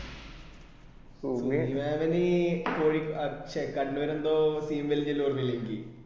ഇന്ന് ആണെങ്കി കോഴി ശേ കണ്ണൂര് എന്തോ